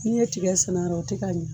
Ne ye tigɛ sɛnɛ a rɔ a ti ka ɲɛ.